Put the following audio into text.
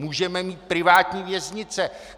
Můžeme mít privátní věznice.